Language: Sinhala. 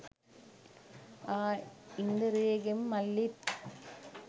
ආ ඉන්දරේගෙ මල්ලිත්